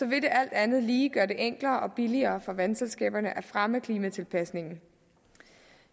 vil det alt andet lige gøre det enklere og billigere for vandselskaberne at fremme klimatilpasningen